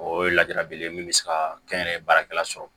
O ye ladira belebele ye min bɛ se ka kɛ n yɛrɛ ye baarakɛla sɔrɔ